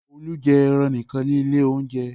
Olú jẹ ẹran nìkan ní ilé-oúnjẹ.